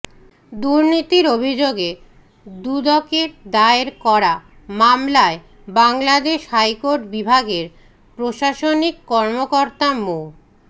দুর্নীতির অভিযোগে দুদকের দায়ের করা মামলায় বাংলাদেশ হাইকোর্ট বিভাগের প্রশাসনিক কর্মকর্তা মো